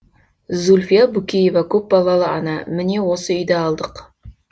зүлфия букеева көпбалалы ана міне осы үйді алдық